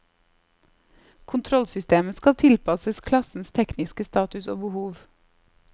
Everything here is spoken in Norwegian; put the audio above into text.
Kontrollsystemet skal tilpasses klassens tekniske status og behov.